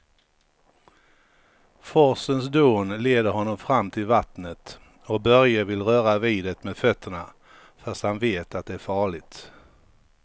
Forsens dån leder honom fram till vattnet och Börje vill röra vid det med fötterna, fast han vet att det är farligt.